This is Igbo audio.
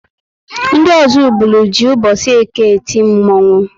Ndị Ozubulu jị mbosi Eke eti Mmanwu